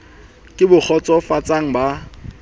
ke bo kgotso fatsang ba